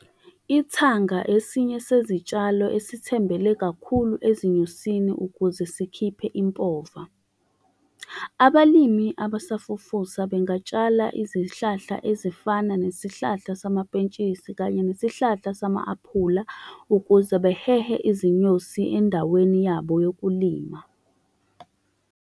Ithanga esinye sezitshalo esithembele kakhulu ezinyosini ukuze sikhiphe impova. Abalimi abasafufusa bengatshala izihlahla ezifana nesihlahla samapentshisi, kanye nesihlahla sama-aphula, ukuze behehe izinyosi endaweni yabo yokulima.